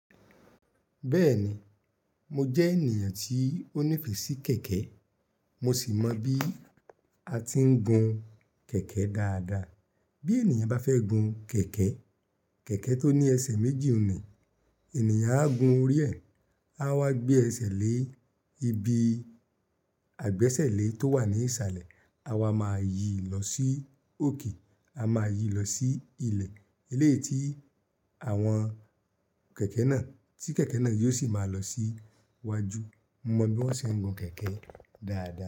Bẹ́ẹ̀ni, mo jẹ́ ènìyàn tí ó nífẹ̀ẹ́ sí kẹ̀kẹ́, mo sì mọ bí a ti ń gun kẹ̀kẹ́ dáadáa. Bí ènìyàn bá fẹ́ gun kẹ̀kẹ́, kẹ̀kẹ́ tó ni ẹsẹ̀ méjì n ni, ènìyàn á gun orí ẹ̀, áwá gbé ẹsé lé ibi àgbésẹ̀lẹ́ tówà ní ìsàlẹ̀ áwá máa yìí lọ sí òkè. A máa yí lọ sí ilẹ̀, eléyìí tí àwọn kẹ̀kẹ́ náà tí kẹ̀kẹ́ náà yóò sì máa lọ sí iwájú. Mo mọ bí wọ́n ṣe ń gun kẹ̀kẹ́ dáadáa.